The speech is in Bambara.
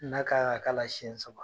N'a kan ka k'ala siɲɛ saba